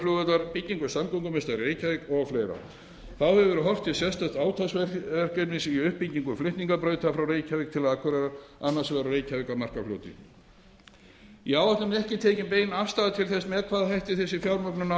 samgöngumiðstöðvar í reykjavík og fleira þá hefur verið horft til sérstaks átaksverkefnis í uppbyggingu flutningabrauta frá reykjavík til akureyrar annars vegar og frá reykjavík að markarfljóti í áætluninni er ekki tekin bein afstaða til þess með hvaða hætti þessi fjármögnun á sér